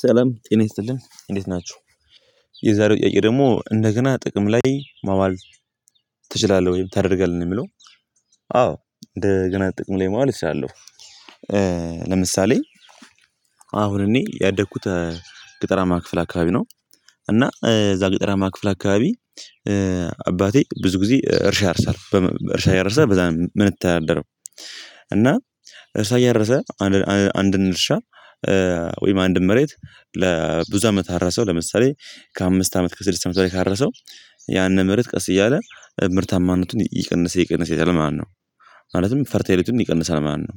ሰለም ጤና ይስጥልኝ እንዴት ናችሁ የዛሬው ጥያቄ ደግሞ እንደገና ጥቅም ላይ ማዋል ትችላለህ ወይም ታደርጋለህ ነው የሚለው? አዎ እንደገና ጥቅም ላይ ማለት እችላለሁ። ለምሳሌ አሁን እኔ ያደኩት ገጠራማ ክፍል አካባቢ ነው። እና እዛ ገጠራማ ክፍል አካባቢ አባቴ ብዙ ጊዜ እርሻ ያርሳል እርሻ ያርሳል በዛ ነው የምንተዳደረው። እና እርሻ እያረሰ አንድ አንድን እርሻ ወይም አንድን መሬት ለብዙ አመት አራሰው ለምሳሌ ከአምስት አመት ከስድስት አመት በላይ ካረሰው ያንን መሬት ቀስ እያለ ምርታማነቱን ይቀንሰ ይቀንሰ ይሄዳል። ማለትም ፈርታይልነቱም ይቀንሰ ማለት ነው።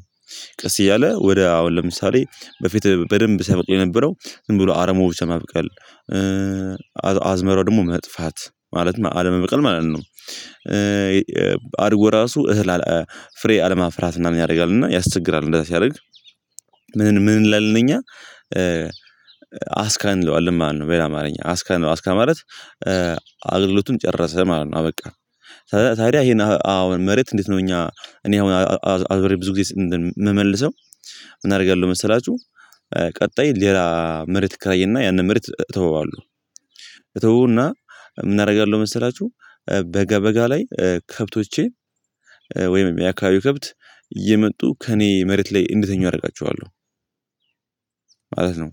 ቀስ እያለ ወደ አሁን ለምሳሌ በፊት በደንብ ሲያበቅ የነበረው ዝም ብሎ አረም ብቻ ማብቅል አዝመራው ደግሞ መጥፋት ማለት ነው አለመብቀል ማለት ነው። አድጎ ራሱ እህል አለማ ፍሬ አለማፍራት ምናምን ያደርጋል እና ያስቸግራል እንደዛ ሲያደርግ ምን ምን እንላለን እኛ አስካን እንለዋልለን ማለት ነው። በኛ አማርኛ አስካን ማለት አስካን ማለት አገልግሎቱን ጨረሰ ማለት ነው አበቃ። ታዲያ ይሄን አሁን መሬት እንዴት ነው እኛ እኔ አሁን አብሬ ብዙ ጊዜ የምመልሰው ምን አደርጋለሁ መሰላችሁ? ቀጣይ ሌላ መሬት እከራይና ያንን መሬት እተወዋለሁ እተወውና ምን አደርጋለሁ መሰላችሁ? በጋ በጋ ላይ ከብቶቼን ወይም የአካባቢው ክብት እየመጡ ከእኔ መሬት ላይ እንዲተኙ አደርጋቸዋለሁ ማለት ነው።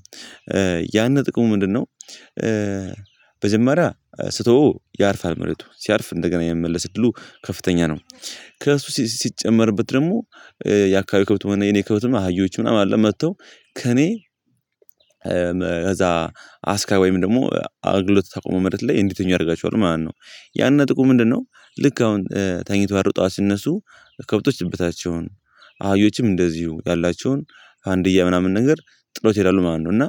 ያንን ጥቅሙ ምንድነው? መጀመሪያ ስተወው ያርፋል መሬቱ ሲያርፍ እንደገና የሚመለስ እድሉ ከፍተኛ ነው። ከእሱ ሲጨመርበት ደግሞ የአካባቢ ከብት መሆን የኔ ከብት አህዮች ምናምን አለ መጥተው ከእኔ ከዛ አስካን ወይም ደግሞ አገልግሎት ያቆመው መሬት ላይ እንዲተኙ አደርጋቸዋለሁ ማለት ነው። ያን ጥቅሙ ምንድነው? ልክ አሁን ተኝተው አድረው ጠዋት ሲነሱ ከብቶች እበታቸውን አህዮችም እንደዚሁ ያላቸውን ፋንድያ ምናምን ነገር ጥለውት ይሄዳሉ ማለት ነው። እና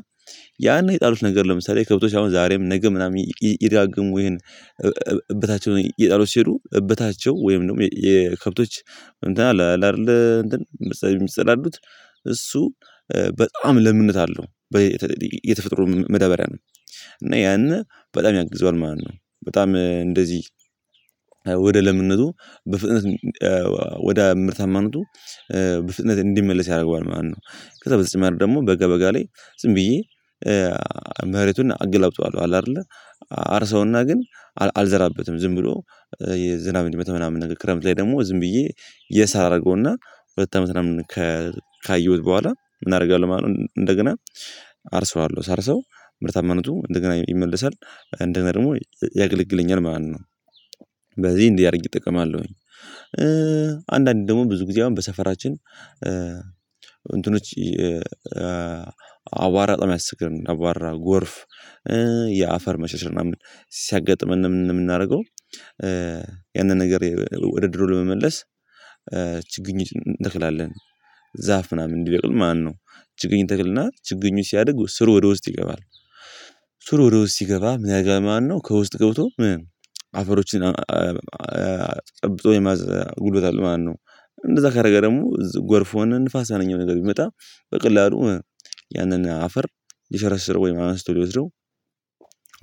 ያኔ የጣሉት ነገር ለምሳሌ ከብቶች አሁን ዛሬም ነገ ምናምን እየደጋገሙ ይሄን እበታቸውን እየጣሉት ሲሉ እበታቸው ወይም ደግሞ የከብቶች አይደለ አይደለ እንትን ምሳሌ የሚጸላሉት እሱ በጣም ለምንድነት አለው የተፈጥሮ መዳበሪያ ነው። እና ያንን በጣም ያግዘዋል ማለት ነው በጣም እንደዚህ ወደ ለምነቱ በፍጥነት ወደ ምርታማነቱ በፍጥነት እንዲመለስ ያደርገዋል ማለት ነው። ከዛ በተጨማሪ ደግሞ በጋ በጋ ላይ ዝም ብዬ መሬቱን አገላብጠዋለሁ አለ አይደለ አርሰውና ግን አልዘራበትም ዝም ብሎ ዝናብ እንዲመታው ምናምን ነገር ክረምት ላይ ደግሞ ዝም ብዬ የሳ አደርገውና ሁለት አመት ምናምን ካየሁት በኋላ ምን አደርጋለሁ ማለት ነው እንደገና አርሰዋለሁ ሳርሰው ምርታማነቱ እንደገና ይመለሳል እንደጋና ደግሞ ያገለግለኛል ማለት ነው። በዚህ እንዲህ አድርጌ እጠቀማለሁኝ አንዳንድ ደግሞ ብዙ ጊዜ አሁን በሰፈራችን እንትኖች አቧራ ባጣም ያስቸግረናል አቧራ ጎርፍ የአፈር መሸርሸር ምናምን ሲያጋጥመን ምን የምናደርገው? ያንን ነገር ወደ ድሮ ለመመለስ ችግኞች እንተክላለን ዛፍ ምናምን እንዲበቅል ማለት ነው። ችግኝ እንተክልና ችግኙ ሲያድጉ ስሩ ወደ ውስጥ ይገባል። ስሩ ወደ ውስጥ ሲገባ ምንያደርጋል ማለት ነው። ከውስጥ ገብቶ አፈሮችን ጠብቶ የመያዝ ጉልበት አለው ማለት ነው። እንደዛ ካደረገ ደግሞ እዚህ ጎርፍ ሆን ንፋስ ሀይለኛ ነገር ቢመጣ በቀላሉ ያንን አፈር ሊሸረሽረው ወይም አንስቶ ሊወስደው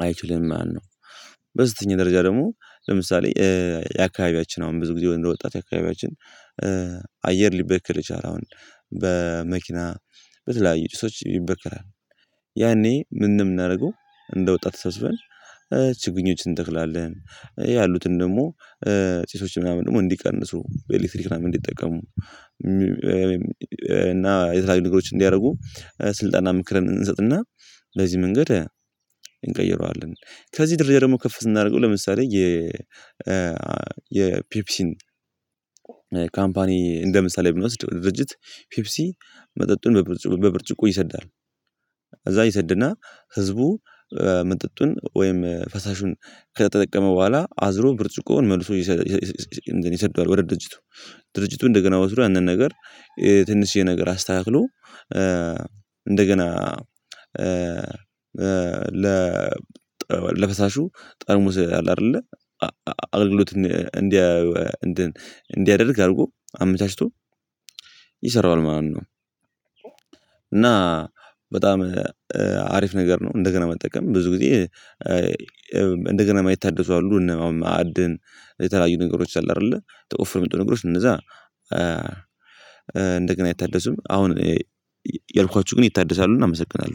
አይችልም ማነው? በዝተኛ ደረጃ ደግሞ ለምሳሌ የአካባቢያችን አሁን ብዙ ጊዜ እንደወጣት የአካባቢያችን አየር ሊበክል የቻለ አሁን በመኪና በተለያዩ ጭሶች ይበከራል። ያኔ ምንም እናድርገው እንደ ወጣት ተሰብስበን ችግኞችን እንተክላለን ያሉትን ደግሞ ጪሶች ምናምን ደግሞ እንዲቀንሱ በኤሌክትሪክ ምናምን እንዲጠቀሙ እና የተለያዩ ነገሮችን እንዲያደርጉ ስልጣንና ምክርን እንሰጥና በዚህ መንገድ እንቀይረዋለን። ከዚህ ደረጃ ደግሞ ከፍ ስናደርገው ለምሳሌ የ የፔፕሲን ካምፓኒ እንደ ምሳሌ ብንወስድ ድርጅት ፔፕሲ መጠጡን በብርጭቆ ይሰዳል። እዛ ይሰድና ህዝቡ መጠጡን ወይም ፈሳሹን ከተጠቀመ በኋላ አዝሮ ብርጭቆውን መልሶ ይሰደዋል ወደ ድርጅቱ ድርጅቱ እንደገና ያንን ነገር ትንሽዬ ነገር አስተካክሎ እንደገና ለፈሳሹ ጠርሙዝ አለ አይደለ አገልግሎት እንዲያ እንዲያደርግ አድርጎ አመቻችቶ ይሰራዋል ማለት ነው። በጣም አሪፍ ነገር ነው እንደገና መጠቀም ብዙ ጊዜ እንደገና ማየት ታደሱ አሉ እና ማዕድን የተለያዩ ነገሮች አሉ አይደለ ተቆፍሮ የሚወጡ ነገሮች እነዛ እንደገና አይታደሱም። አሁን ያልኳችሁ ግን ይታደሳሉ እናመሰግናለን